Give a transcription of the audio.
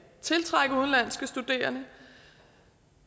tiltrække udenlandske studerende